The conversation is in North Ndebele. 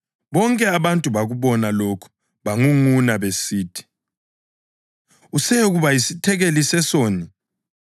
Bonke abantu bakubona lokhu bangunguna besithi, “Useyekuba yisethekeli sesoni.”